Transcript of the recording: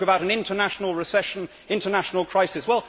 You spoke about an international recession, international crisis.